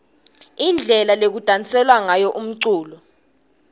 indlela lekudanselwa ngayo umculo